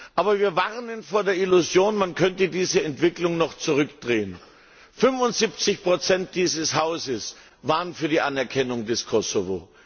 Aber wir warnen vor der Illusion, man könnte diese Entwicklung noch zurückdrehen. 75 dieses Hauses waren für die Anerkennung des Kosovo.